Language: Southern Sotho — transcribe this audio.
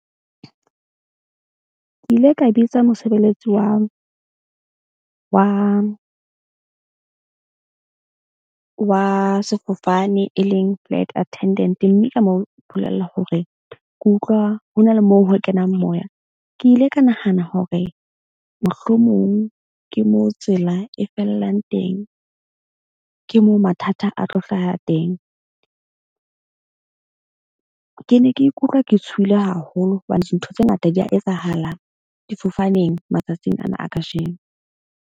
Ke ile ka bitsa mosebeletsi wa sefofane e leng flight attendant mme ka mo bolella hore ke utlwa ho na le moo ho kenang moya. Ke ile ka nahana hore mohlomong ke moo tsela e fellang teng. Ke moo mathata a tlo hlaha teng. Ke ne ke ikutlwa ke tshohile haholo hobane dintho tse ngata di ya etsahalang difofaneng matsatsing ana a kajeno.